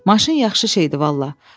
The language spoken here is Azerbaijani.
Maşın yaxşı şeydir vallah.